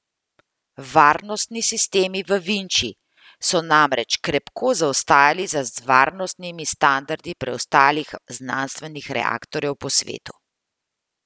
Varnostni sistemi v Vinči so namreč krepko zaostajali za varnostnimi standardi preostalih znanstvenih reaktorjev po svetu.